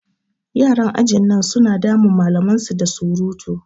Yaran ajin nan su na damun malaman su da surutu.